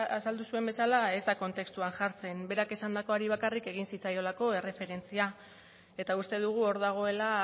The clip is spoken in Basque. azaldu zuen bezala ez da kontextuan jartzen berak esandakoari bakarrik egin zitzaiolako erreferentzia eta uste dugu hor dagoela